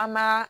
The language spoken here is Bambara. An ma